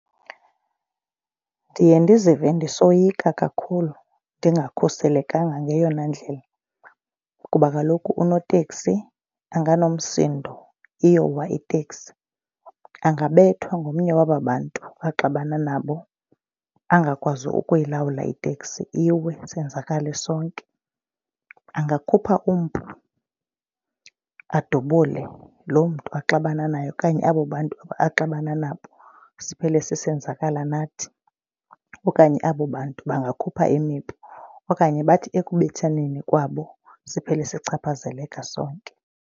Ndiye ndizive ndisoyika kakhulu ndingakhuselekanga ngeyona ndlela kuba kaloku unoteksi anganomsindo iyowa iteksi. Angabethwa ngomnye waba bantu axabane nabo angakwazi ukuyilawula iteksi iwe sonzakale sonke. Angakhupha umpu adubule lo mntu axabene naye okanye abo bantu axabana nabo siphele sisenzakala nathi okanye abo bantu bangakhupha imipu okanye bathi ekubethaneni kwabo siphele sichaphazeleka sonke.